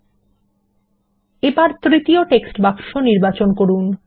বিরতি এখন তৃতীয় টেক্সট বাক্স নির্বাচন করুন